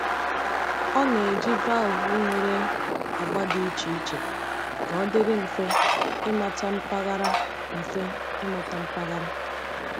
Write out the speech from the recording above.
Ọ na-eji valvụ nwere agba dị iche iche ka ọ dịrị mfe ịmata mpaghara. mfe ịmata mpaghara.